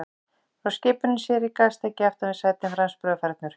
Frá skipinu sér í gastæki aftan við sætin, franskbrauð og fernur.